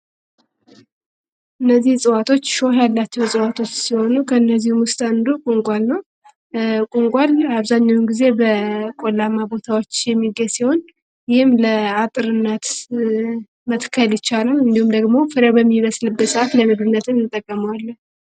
እነዚህ እፅዋቶች ሾው ያላቸው እፅዋቶች ሲሆኑ ፤ ከእነዚሁ ውስጥ አንዱ ቁልቋል ነው። ቁልቋል አብዛኛውን ጊዜ በቆላማ ቦታዎች የሚገኝ ሲሆን፤ ይህም ለአጥርነት መትከል ይቻላል እንዲሁም ደግሞ ፍሬው በሚበልስበት ጊዜ ለምግብነትም እንጠቀመዋለን።